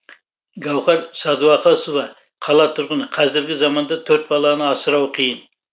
гауһар сәдуақасова қала тұрғыны қазіргі заманда төрт баланы асырау қиын